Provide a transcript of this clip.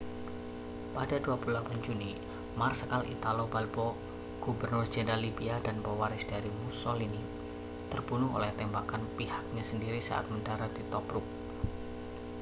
pada 28 juni marsekal italo balbo gubernur jenderal libia dan pewaris dari mussolini terbunuh oleh tembakan pihaknya sendiri saat mendarat di tobruk